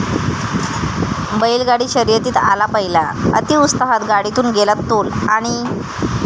बैलगाडी शर्यतीत आला पहिला, अतिउत्साहात गाडीतून गेला तोल, आणि...!